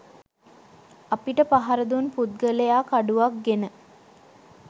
අපිට පහරදුන් පුද්ගලයා කඩුවක් ගෙන